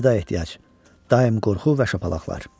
Əlvida ehtiyac, daim qorxu və şapalaqlar.